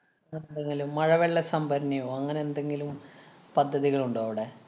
നല്ല മഴവെള്ളസംഭരണിയോ, അങ്ങനെ എന്തെങ്കിലും പദ്ധതികള്‍ ഉണ്ടോ അവിടെ?